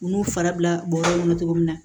U n'u farala bɔrɔ kɔnɔ cogo min na